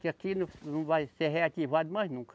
Que aqui não, não vai ser reativado mais nunca.